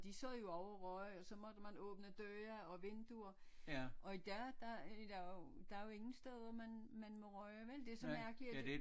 De sad jo også og røg og så måtte man åbne døre og vinduer og i dag der er der er jo ingen steder man må ryge vel det er så mærkeligt